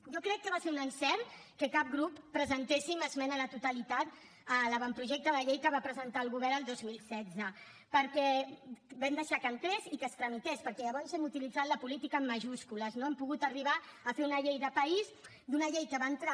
jo crec que va ser un encert que cap grup presentéssim esmena a la totalitat de l’avantprojecte de llei que va presentar el govern el dos mil setze perquè vam deixar que entrés i que es tramités perquè llavors hem utilitzat la política en majúscules no hem pogut arribar a fer una llei de país d’una llei que va entrar